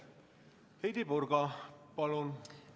Heidy Purga, palun!